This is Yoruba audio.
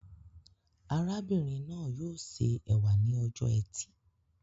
Arábìnrin náà yóò ṣe ẹ̀wà ní ọjọ ẹtì